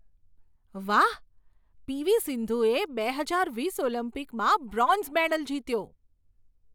વાહ, પીવી સિંધુએ બે હજાર વીસ ઓલિમ્પિકમાં બ્રોન્ઝ મેડલ જીત્યો.